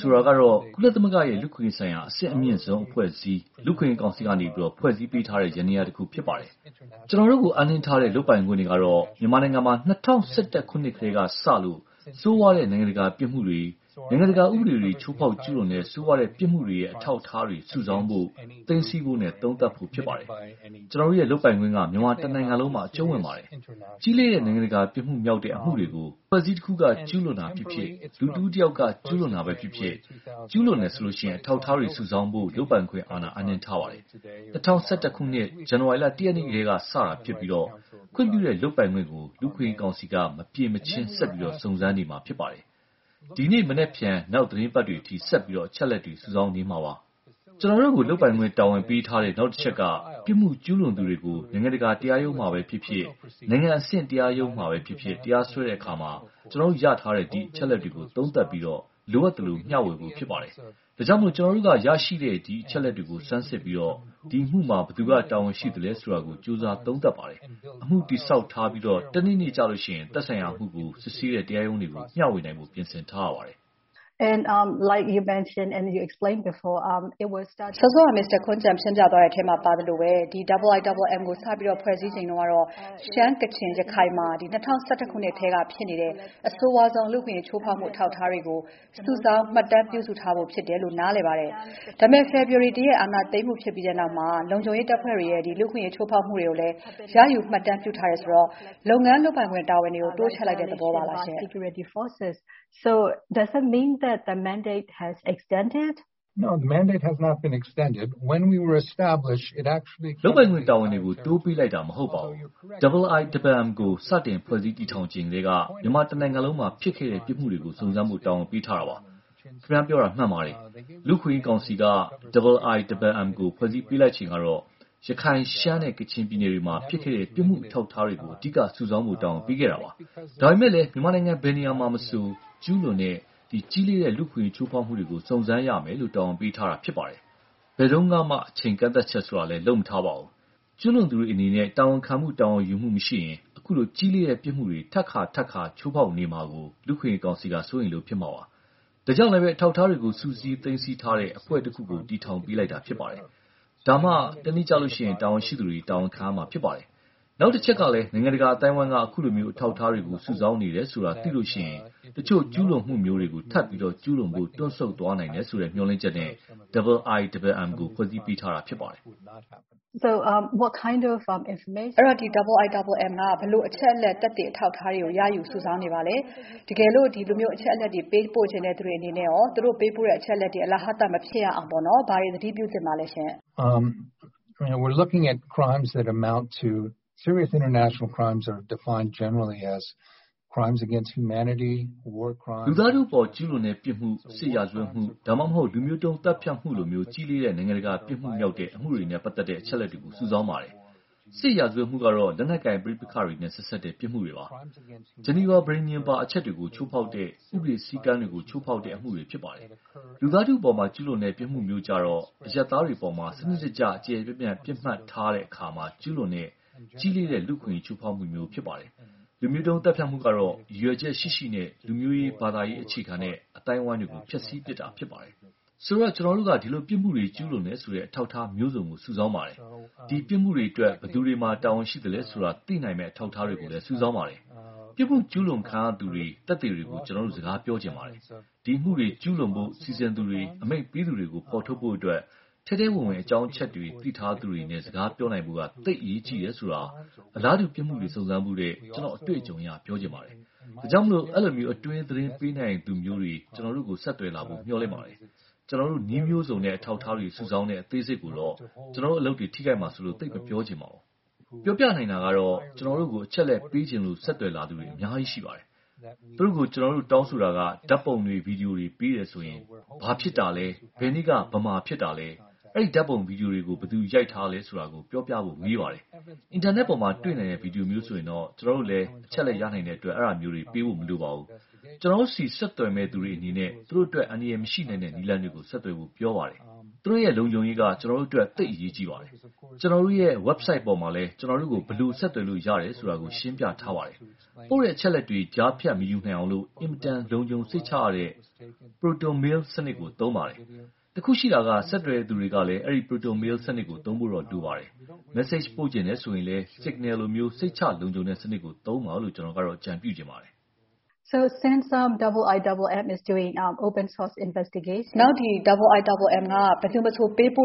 ဆိုတာကတော့ ကုလသမဂ္ဂရဲ့ လူ့အခွင့်အရေးဆိုင်ရာ အဆင့်အမြင့်ဆုံးအဖွဲ့အစည်း လူ့အခွင့်အရေးကောင်စီက ဖွဲ့စည်းပေးထားတဲ့ ယန္တရားတခု ဖြစ်ပါတယ်။ ကျွန်တော်တို့ကို အပ်နှင်းထားတဲ့ လုပ်ပိုင်ခွင့်တွေကတော့ မြန်မာနိုင်ငံမှာ ၂၀၁၁ ခုနှစ်ထဲကစလို့ ဆိုးဝါးတဲ့ နိုင်ငံတကာပြစ်မှုတွေ၊ နိုင်ငံတကာဥပဒေတွေ ချိုးဖောက်ကျူးလွန်တဲ့ ဆိုးဝါးတဲ့ ပြစ်မှုတွေရဲ့ အထောက်အထားတွေ စုဆောင်းဖို့၊ သိမ်းဆည်းဖို့နဲ့ သုံးသပ်ဖို့ ဖြစ်ပါတယ်။ ကျွန်တော်တို့ လုပ်ပိုင်ခွင့်က မြန်မာတနိုင်ငံလုံးမှာ အကြုံးဝင်ပါတယ်။ ကြီးလေးတဲ့ နိုင်ငံတကာ ပြစ်မှုမြောက်တဲ့အမှုတွေကို အဖွဲ့အစည်းတခုအပေါ် ကျူးလွန်တာဖြစ်ဖြစ်၊ လူတဦးတယောက်က ကျူးလွန်တာပဲဖြစ်ဖြစ် ကျူးလွန်တယ်ဆိုရင် အထောက်အထားတွေ စုဆောင်းဖို့ လုပ်ပိုင်ခွင့်အာဏာ အပ်နှင်းထားပါတယ်။ ၂၀၁၁ ခုနှစ် ဇန်နဝါရီလ ရက်နေ့ထဲက စတာဖြစ်ပြီး၊ ခွင့်ပြုတဲ့ လုပ်ပိုင်ခွင့်ကို လူ့အခွင့်အရေးကောင်စီက မပြင်မချင်း ဆက်ပြီး စုံစမ်းနေမှာ ဖြစ်ပါတယ်။ ဒီနေ့နက်ဖြန် နောက်သီတင်းပါတ်တွေအထိ ဆက်ပြီး အချက်အလက်တွေ စုဆောင်းနေမှာပါ။ ကျွန်တော်တို့ကို လုပ်ပိုင်ခွင့် တာဝန်ပေးထားတဲ့ နောက်တချက်က ပြစ်မှုကျူးလွန်သူတွေကို နိုင်ငံတကာ တရားရုံးမှာပဲဖြစ်ဖြစ်၊ နိုင်ငံအဆင့် တရားရုံးမှာပဲဖြစ်ဖြစ် တရားစွဲတဲ့အခါ ကျွန်တော်တို့ ရရှိထားတဲ့ အချက်အလက်တွေကို သုံးသပ်ပြီး လိုအပ်တာ မျှဝေဖို့ ဖြစ်ပါတယ်။ ဒါကြောင့် ကျွန်တော်တို့က ရရှိတဲ့ ဒီအချက်အလက်တွေကို ဆန်းစစ်ပြီး ဒီအမှုမှာ ဘယ်သူက တာဝန်ရှိသလဲဆိုတာကို ကြိုးစားသုံးသပ်ပါတယ်။ အမှုတည်ဆောက်ထားပြီး တနေ့နေ့မှာ သက်ဆိုင်ရာအမှုကို စစ်ဆေးတဲ့ တရားရုံးတွေကို မျှဝေနိုင်ဖို့ ပြင်ဆင်ထားရပါတယ်။ မေး ။ ။ စောစောက မစ္စတာခွမ်းဂျန် ရှင်းပြတဲ့ထဲမှာပါသလိုပဲ IIMM ကို စတင်ဖွဲ့စည်းချိန်က ရှမ်း၊ ကချင်၊ ရခိုင်မှ ၂၀၁၁ ခုနှစ်ထဲက ဖြစ်ခဲ့တဲ့ အဆိုးဝါးဆုံး လူ့အခွင့်အရေးချိုးဖောက်မှု အထောက်အထားတွေကို စုဆောင်းမှတ်တမ်းပြုစုထားဖို့ ဖြစ်တယ်လို့ နားလည်ပါတယ်။ ဒါပေမဲ့ ဖေဖော်ဝါရီ ရက် အာဏာသိမ်းပြီးနောက် လုံခြုံရေးတပ်ဖဲ့ွတွေရဲ့ လူ့အခွင့်အရေးချိုးဖောက်မှုတွေကိုလည်း ရယူမှတ်တမ်းပြုထားတယ်ဆိုတော့ လုပ်ငန်းလုပ်ပိုင်ခွင့် တာဝန်တွေကို တိုးချဲ့လိုက်တဲ့သဘောပါလား။ ဖြေ ။ ။ လုပ်ပိုင်ခွင့်တာဝန်တွေကို တိုးပေးလိုက်တာ မဟုတ်ပါဘူး။ IIMM ကို စတင် ဖွဲ့စည်းတည်ထောင်ချိန်ထဲက မြန်မာတနိုင်ငံလုံးမှာ ဖြစ်ခဲ့တဲ့ ပြစ်မှုတွေကို စုံစမ်းဖို့ တာဝန်ပေးထားတာပါ။ ခင်ဗျားပြောတာ မှန်ပါတယ်။ လူ့အခွင့်အရေးကောင်စီက IIMM ကို ဖွဲ့စည်းပေးလိုက်ချိန်ကတော့ ရခိုင်၊ ရှမ်းနဲ့ ကချင်ပြည်နယ်တွေမှာ ဖြစ်ခဲ့တဲ့ ပြစ်မှုအထောက်အထားတွေကို အဓိက စုဆောင်းဖို့ တာဝန်ပေးခဲ့တာပါ။ ဒါပေမဲ့ မြန်မာနိုင်ငံ ဘယ်နေရာမှာမဆို ကျူးလွန်တဲ့ ကြီးလေးတဲ့၊ လူ့အခွင့်အရေးချိုးဖောက်မှုတွေကို စုံစမ်းရမယ်လို့ တာဝန်ပေးထားတာ ဖြစ်ပါတယ်။ ဘယ်တုန်းကမှ အချိန်ကန့်သတ်ချက်လည်း လုပ်မထားပါဘူး။ ကျုးလွန်သူတွေအနေနဲ့ တာဝန်ခံမှု၊ တာဝန်ယူမှု မရှိရင်၊ အခုလိုကြီးလေးတဲ့ ပြစ်မှုတွေ ထပ်ခါထပ်ခါ ချိုးဖောက်နေမှာကို လူ့အခွင့်အရေးကောင်စီက စိုးရိမ်လို့ ဖြစ်မှာပါ။ ဒါကြောင့်လဲ အထောက်အထားတွေကို စုစည်းသိမ်းဆည်းထားတဲ့ အဖွဲ့တခုကို တည်ထောင်ပေးလိုက်တာ ဖြစ်ပါတယ်။ ဒါမှ တနေ့ကျရင် တာဝန်ရှိသူတွေ တာဝန်ခံရမှာ ဖြစ်ပါတယ်။ နောက်တချက်ကလည်း နိုင်ငံတကာ အသိုင်းအဝိုင်းက အခုလို အထောက်အထားတွေကို စုဆောင်းနေတယ်ဆိုတာ သိရင် တချို့ကျူးလွန်မှုမျိုးတွေကို ထပ်ပြီး ကျူးလွန်ဖို့ တွန့်သွားနိုင်တယ်ဆိုတဲ့ မျှော်လင့်ချက်နဲ့ IIMM ကို ဖွဲ့စည်းပေးထားတာ ဖြစ်ပါတယ်။ မေး ။ ။ အဲဒီတော့ IIMM က ဘယ်လိုအချက်အလက်၊ သက်သေ၊ အထောက်အထားတွေကို ရယူ စုဆောင်းနေပါသလဲ၊ တကယ်လို့ အဲဒီအချက်အလက်တွေ ပို့ပေးချင်သူတွေအနေနဲ့ သူတို့ ပို့ပေးတဲ့အချက်တွေ အလဟာသ မဖြစ်ရအောင် ဘာတွေသတိပြုသင့်ပါလဲ။ ဖြေ ။ ။ လူသားထုအပေါ် ကျူးလွန်တဲ့ပြစ်မှု၊ စစ်ရာဇဝတ်မှု ဒါမှမဟုတ် လူမျိုးတုံးသတ်ဖြတ်မှုလို ကြီးလေးတဲ့ နိုင်ငံတကာပြစ်မှုမြောက်တဲ့ အမှုတွေနဲ့ ပတ်သက်တဲ့ အချက်အလက်တွေကို စုဆောင်းပါတယ်။ စစ်ရာဇဝတ်မှုကတော့ လက်နက်ကိုင် ပဋိပက္ခတွေနဲ့ ဆက်စပ်တဲ့ ပြစ်မှုတွေပါ။ ဂျီနီဗာ ပဋိဉာဉ် ပါအချက်တွေကို ချိုးဖောက်တဲ့၊ ဥပဒေစည်းကမ်းတွေကို ချိုးဖောက်တဲ့ အမှုတွေ ဖြစ်ပါတယ်။ လူသားထုအပေါ် ကျူးလွန်တဲ့ ပြစ်မှုမျိုးကျတော့ အရပ်သားတွေအပေါ် စနစ်တကျ ကျယ်ကျယ်ပြန့်ပြန့် ပြစ်မှတ်ထားတဲ့အခါ ကျုးလွန်တဲ့ ကြီးလေးတဲ့ လူ့အခွင့်အရေးချိုးဖောက်မှုမျိုး ဖြစ်ပါတယ်။ လူမျိုးတုံးသတ်ဖြတ်မှုကတော့ ရည်ရွယ်ချက်ရှိရှိနဲ့ လူမျိုးရေး၊ ဘာသာရေး အခြေခံတဲ့ အသိုင်းအဝိုင်းတွေကို ဖျက်စီးပြစ်တာ ဖြစ်ပါတယ်။ ဆိုတော့ ကျွန်တော်တို့က ဒီလိုပြစ်မှုတွေ ကျုးလွန်တယ်ဆိုတဲ့ အထောက်အထားမျိုးစုံကို စုဆောင်းပါတယ်။ ဒီပြစ်မှုတွေအတွက် ဘယ်သူတွေမှာ တာဝန်ရှိသလဲဆိုတာ သိနိုင်မယ့် အထောက်အထားတွေကိုလည်း စုဆောင်းပါတယ်။ ပြစ်မှုကျူးလွန်ခံရသူတွေ သက်သေတွေကို ကျွန်တော်တို့ စကားပြောချင်ပါတယ်။ ဒီအမှုတွေကျုးလွန်ဖို့ စီစဉ်သူတွေ အမိန့်ပေးသူတွေကို ဖော်ထုတ်ဖို့အတွက် ထဲထဲဝင်ဝင် အကြောင်းအချက်တွေ သိထားသူတွေနဲ့ စကားပြောနိုင်ဖို့ သိပ်အရေးကြီးတယ်ဆိုတာ အလားတူပြစ်မှုတွေ စုံစမ်းဖူးတဲ့ ကျွန်တော့်အတေ့ွအကြုံအရ ပြောချင်ပါတယ်။ ဒါကြောင့် အဲလို အတွင်းသတင်းပေးနိုင်သူမျိုးတွေ ကျွန်တော်တို့ကို ဆက်သွယ်လာဖို့ မျှော်လင့်ပါတယ်။ ကျွန်တော်တို့ နည်းမျိုးစုံနဲ့ အထောက်အထားတွေ စုဆောင်းတဲ့ အသေးစိတ်ကိုတော့ ကျွန်တော်တို့ အလုပ်တွေ ထိခိုက်မှာစိုးလို့ သိပ်မပြောချင်ပါဘူး။ ပြောနိုင်တာကတော့ ကျွန်တော်တို့ကို အချက်အလက်ပေးချင်လို့ ဆက်သွယ်လာသူတွေ အများကြီးရှိပါတယ်။ သူတို့ကို ကျွန်တော်တို့တောင်းဆိုတာက ဓါတ်ပုံတွေ ဗီဒီယိုတွေပေးတယ်ဆိုရင် ဘာဖြစ်တာလဲ ဘယ်နေ့က ဘယ်မှာဖြစ်တာလဲ။ အဲဒီဓါတ်ပုံ ဗီဒီယိုတွေကို ဘယ်သူရိုက်ထားတာလဲဆိုတာ ပြောပြဖို့ မေးပါတယ်။ အင်တာနက်ပေါ်မှာ တေ့ွနိုင်တဲ့ ဗီဒီယိုမျိုးဆိုရင်တော့ ကျွန်တော်တို့လဲ အချက်အလက်ရနိုင်တဲ့အတွက် အဲဒါမျိုးတွေပေးဖို့ မလိုပါဘူး။ ကျွန်တော်တို့ဆီ ဆက်သွယ်မယ့်သူတွေအနေနဲ့ သူတို့အတွက် အန္တရာယ်မရှိနိုင်တဲ့ နည်းလမ်းတွေနဲ့ ဆက်သွယ်ဖို့ ပြောပါတယ်။ သူတို့လုံခြုံရေးက ကျွန်တော်တို့အတွက် သိပ်အရေးကြီးပါတယ်။ ကျွန်တော်တို့ရဲ့ website ပေါ်မှာလည်း ကျွန်တော်တို့ကို ဘယ်လို ဆက်သွယ်လို့ရတယ်ဆိုတာ ရှင်းပြထားပါတယ်။ ပို့တဲ့အချက်အလက်တွေ ကြားဖြတ်မယူနိုင်အောင် အင်မတန်လုံခြုံစိတ်ချရတဲ့ Proton Mail စနစ်ကို သုံးပါတယ်။ တခုရှိတာက ဆက်သွယ်တဲ့သူကလည်း အဲဒီ Proton Mail စနစ်ကို သုံးဖို့တော့ လိုပါတယ်။ Message ပို့ချင်တယ်ဆိုရင်လည်း Signal လို စိတ်ချလုံခြုံတဲ့ စနစ်ကို သုံးပါလို့ ကျွန်တော်ကတော့ အကြုံပြုချင်ပါတယ်။ မေး ။ ။ IIMM က ဘယ်သူမဆိုပေးပို့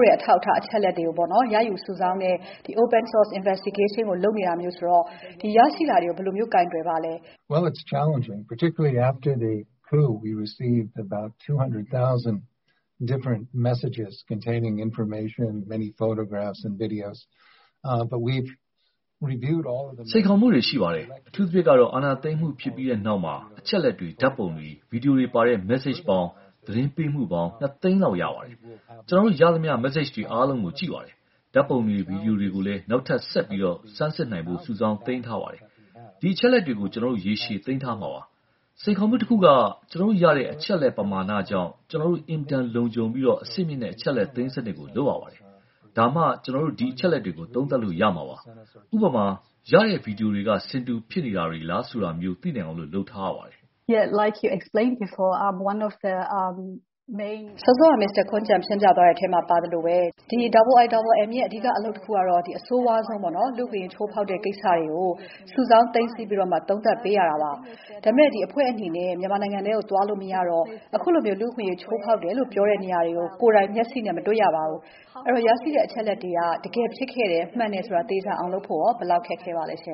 တဲ့ အထောက်အထား အချက်အလက်တွေကို ရယူစုဆောင်းတဲ့ open-source investigation ကို လုပ်နေတာဆိုတော့ ရရှိတာတွေကို ဘယ်လို ကိုင်တွယ်ပါလဲ။ ဖြေ ။ ။ စိန်ခေါ်မှုတွေ ရှိပါတယ်။ အထူးသဖြင့် အာဏာသိမ်းမှုဖြစ်ပြီးနောက်မှာ အချက်အလက်တွေ၊ ဓါတ်ပုံတွေ၊ ဗီဒီယိုတွေပါတဲ့ message မက်ဆေ့ချ်ပေါင်း - သတင်းပေးမှုပေါင်း သိန်းလောက် ရပါတယ်။ ကျွန်တော်တို့ ရသမျှ မက်ဆေ့ချ်တွေအားလုံးကို ကြည့်ပါတယ်။ ဓါတ်ပုံတွေ၊ ဗီဒီယိုတွေကိုလည်း နောက်ထပ်ဆက်ပြီး ဆန်းစစ်နိုင်ဖို့ စုဆောင်းသိမ်းထားပါတယ်။ ဒီအချက်အလက်တွေကို ကျွန်တော်တို့ ရေရှည်သိမ်းထားမှာပါ။ စိန်ခေါ်မှုတခုက ကျွန်တော်တို့ရတဲ့ အချက်အလက် ပမာဏကြောင့် ကျွန်တော်တို့ အင်မတန်လုံခြုံပြီး အဆင့်မြင့်တဲ့ အချက်အလက်သိမ်းစနစ်ကို လုပ်ရပါတယ်။ ဒါမှ ကျွန်တော်တို့ ဒီအချက်အလက်တွေကို သုံးသပ်လို့ရမှာပါ။ ဥပမာ ရတဲ့ဗီဒီယိုတွေက ဆင်တူဖြစ်နေတာတွေလား ဆိုတာမျိုး သိနိုင်အောင် လုပ်ထားရပါတယ်။ မေး ။ ။ စောစောက Mr. Koumjian ရှင်းပြသွားတဲ့အထဲမှာ IIMM ရဲ့ အဓိက အလုပ်တခုက အဆိုးဝါးဆုံး လူ့အခွင့်အရေး ချိုးဖောက်တယ်ဆိုတဲ့ ကိစ္စတွေကို စုဆောင်းသိမ်းဆည်းပြီး သုံးသပ်ပေးရတာပါ။ ဒါပေမဲ့ အဖွဲ့အနေနဲ့ မြန်မာနိုင်ငံထဲကို သွားလို့မရတော့ အခုလို လူ့အခွင့်အရေး ချိုးဖောက်တယ်လို့ ပြောတဲ့နေရာတွေကို ကိုယ်တိုင်မျက်စိနဲ့ မတေ့ွရပါဘူး။ အဲဒီတော့ ဒီရရှိထားတဲ့ အချက်အလက်တွေက လူ့အခွင့်အရေး ချိုးဖောက်တယ်ဆိုတဲ့ ကိစ္စတွေဟာ တကယ်ဖြစ်ခဲ့တယ် မှန်တယ်ဆိုတာ သေချာအောင် လုပ်ဖို့ ဘယ်လောက်ခက်ခဲပါလဲ။ ဖြေ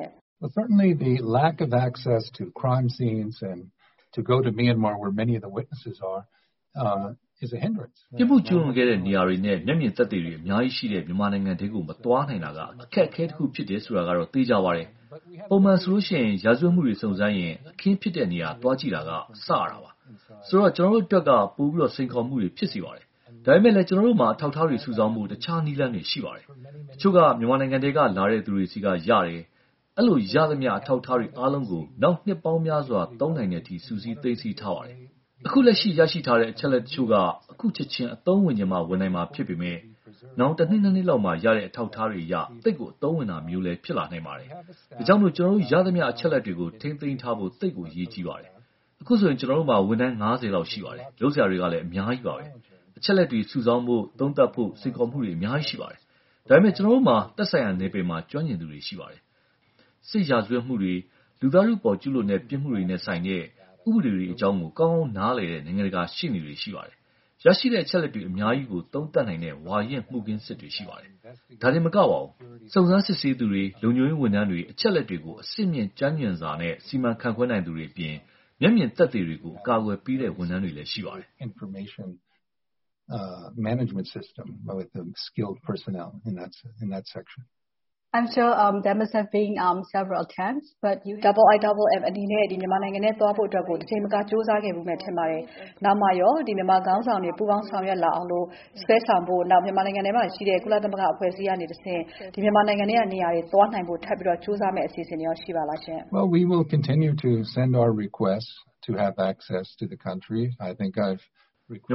။ ။ ပြစ်မှုကျူးလွန်ခဲ့တဲ့နေရာတွေနဲ့ မျက်မြင်သက်သေတွေ အများကြီးရှိတဲ့ မြန်မာနိုင်ငံထဲကို မသွားနိုင်တာက အခက်အခဲတခု ဖြစ်တယ်ဆိုတာကတော့ သေချာပါတယ်။ ပုံမှန်ဆို ရာဇဝတ်မှုတွေ စုံစမ်းရင် အခင်းဖြစ်တဲ့နေရာ သွားကြည့်တာက စရတာပါ။ ဆိုတော့ ကျွန်တော်တို့အတွက် ပိုပြီးစိန်ခေါ်မှုတွေ ဖြစ်စေပါတယ်။ ဒါပေမဲ့ ကျွန်တော်တို့မှာ အထောက်အထားတွေ စုဆောင်းဖို့ တခြားနည်းလမ်းတွေ ရှိပါတယ်။ တချို့က မြန်မာနိုင်ငံထဲက လာတဲ့သူတွေဆီက ရတယ်။ အဲဒီလိုရသမျှ အထောက်အထားတွေအားလုံးကို နောင်နှစ်ပေါင်းများစွာ သုံးနိုင်တဲ့အထိ စုစည်းသိမ်းဆည်းထားပါတယ်။ အခုလက်ရှိ ရရှိထားတဲ့ အချက်အလက်တချို့က အခုချက်ချင်း အသုံးဝင်ချင်မှ ဝင်နိုင်မှာ ဖြစ်ပေမယ့် နောင် နှစ် နှစ်လောက်မှာ ရတဲ့ အထောက်အထားတွေအရ သိပ်ကို အသုံးဝင်တာမျိုး ဖြစ်လာနိုင်ပါတယ်။ ဒါကြောင့် ကျွန်တော်တို့ရသမျှ အချက်အလက်တွေကို ထိမ်းသိမ်းထားဖို့ သိပ်ကို အရေးကြီးပါတယ်။ အခုဆို ကျွန်တော်တို့မှာ ဝန်ထမ်း လောက် ရှိပါတယ်။ လုပ်စရာတွေလည်း အများကြီးပါ။ အချက်အလက်တွေ စုဆောင်းဖို့ သုံးသပ်ဖို့ စိန်ခေါ်မှုတွေ အများကြီး ရှိပါတယ်။ ဒါပေမဲ့ ကျွန်တော်တို့မှာ သက်ဆိုင်ရာ နယ်ပယ်မှာ ကျွမ်းကျင်သူတွေ ရှိပါတယ်။ စစ်ရာဇဝတ်မှုတွေ၊ လူသားထုအပေါ် ကျူးလွန်တဲ့ ပြစ်မှုတွေနဲ့ဆိုင်တဲ့ ဥပဒေတွေအကြောင်း ကောင်းကောင်းနားလည်တဲ့ နိုင်ငံတကာရှေ့နေတွေ ရှိပါတယ်။ ရရှိတဲ့ အချက်အလက် အများကြီးကို သုံးသပ်နိုင်တဲ့ ဝါရင့် မှုခင်းစစ်တွေ ရှိပါတယ်။ ဒါတင်မက စုံစမ်းစစ်ဆေးသူတွေ၊ လုံခြုံရေးဝန်ထမ်းတွေ၊ အချက်အလက်တွေကို အဆင်မြင့် ကျွမ်းကျင်စွာ စီမံခန့်ခွဲနိုင်သူတွေအပြင် မျက်မြင်သက်သေတွေကို အကာအကွယ်ပေးတဲ့ ဝန်ထမ်းတွေလည်း ရှိပါတယ်။ မေး ။ ။ IIMM အနေနဲ့ မြန်မာနိုင်ငံထဲ သွားနိုင်ဖို့ တကြိမ်မက ကြိုးစားခဲ့ဖူးမယ် ထင်ပါတယ်။ နောင်မှာရော မြန်မာခေါင်းဆောင်တွေ ပူးပေါင်းဆောင်ရွက်လာအောင် စွဲဆောင်ဖို့၊ မြန်မာနိုင်ငံထဲမှာ ရှိနေတဲ့ ကုလသမဂ္ဂအဖွဲ့အစည်းကတဆင့် မြန်မာနိုင်ငံထဲက နေရာတွေ သွားနိုင်ဖို့ ထပ်ကြိုးစားမယ့် အစီအစဉ်တွေရှိပါလား။ ဖြေ ။ ။ မြ